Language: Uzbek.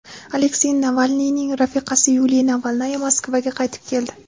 Aleksey Navalniyning rafiqasi Yuliya Navalnaya Moskvaga qaytib keldi.